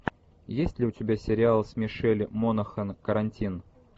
есть ли у тебя сериал с мишель монахэн карантин